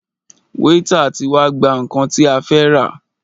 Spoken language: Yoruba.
Wáítà tí wá gbà nnkan tí a fẹ́ rà.